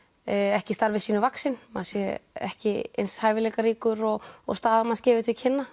ekki starfi sínu vaxinn maður sé ekki eins hæfileikaríkur og og staða manns gefur til kynna